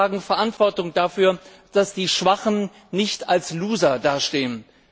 Wir alle tragen Verantwortung dafür, dass die Schwachen nicht als Loser dastehen.